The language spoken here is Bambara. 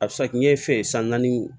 A bɛ se ka kɛ ɲɛfɛ san naani